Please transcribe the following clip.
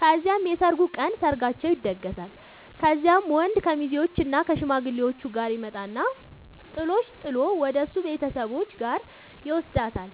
ከዚያም የሰርጉ ቀን ሰርጋቸው ይደገሳል። ከዚያም ወንድ ከሙዜዎችእና ከሽማግሌዎቹ ጋር ይመጣና ጥሎሽ ጥል ወደሱ ቤተሰቦች ጋር ይውስዳታል።